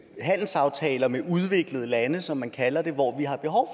handelsaftaler med udviklede lande som man kalder det hvor vi har behov